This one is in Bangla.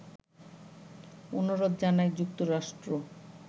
অনুরোধ জানায় যুক্তরাষ্ট্র